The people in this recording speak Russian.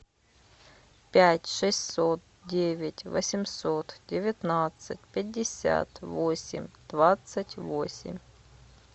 пять шестьсот девять восемьсот девятнадцать пятьдесят восемь двадцать восемь